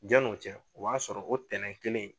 Janni o cɛ o b'a sɔrɔ o tɛnɛn kelen